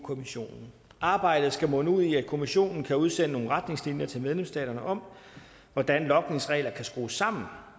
kommissionen arbejdet skal munde ud i at kommissionen kan udsende nogle retningslinjer til medlemsstaterne om hvordan logningsregler kan skrues sammen